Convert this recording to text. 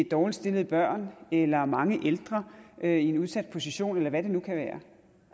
dårligt stillede børn eller mange ældre i en udsat position eller hvad det nu kan være